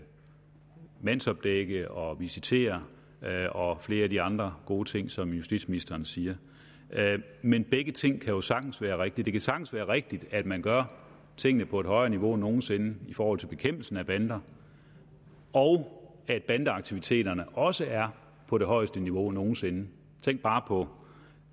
mandsopdække og visitere og flere af de andre gode ting som justitsministeren siger men begge ting kan jo sagtens være rigtige det kan sagtens være rigtigt at man gør tingene på et højere niveau end nogen sinde i forhold til bekæmpelse af bander og at bandeaktiviteterne også er på det højeste niveau nogen sinde tænk bare på